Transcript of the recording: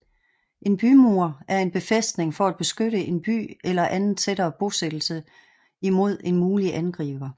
En bymur er en befæstning for at beskytte en by eller anden tættere bosættelse imod en mulig angriber